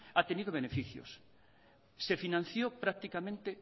ha tenido beneficios se financió prácticamente